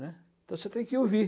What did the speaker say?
né? Então você tem que ouvir.